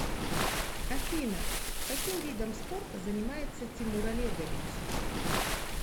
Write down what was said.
афина каким видом спорта занимается тимур олегович